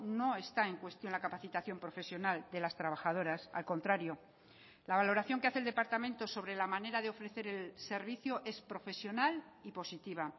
no está en cuestión la capacitación profesional de las trabajadoras al contrario la valoración que hace el departamento sobre la manera de ofrecer el servicio es profesional y positiva